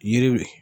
Yiri